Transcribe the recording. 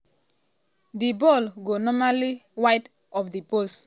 di ball go narrowly wide of di post.